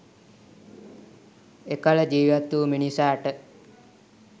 එකල ජීවත් වූ මිනිසාට